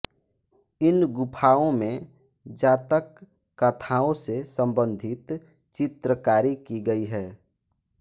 इन गुफाओं में जातक कथाओं से संबंधित चित्रकारी की गई है